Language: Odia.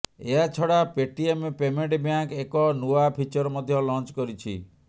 ଏହାଛଡା ପେଟିଏମ ପେମେଣ୍ଟ ବ୍ୟାଙ୍କ୍ ଏକ ନୂଆ ଫିଚର ମଧ୍ୟ ଲଞ୍ଚ କରିଛି